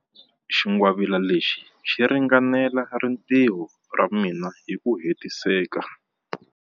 Xingwavila lexi xi ringanela rintiho ra mina hi ku hetiseka.